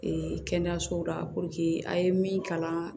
kɛnɛyasow la a ye min kalan